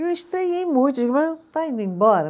Eu estranhei muito, mas está indo embora.